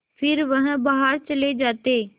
फिर वह बाहर चले जाते